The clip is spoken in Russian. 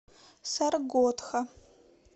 саргодха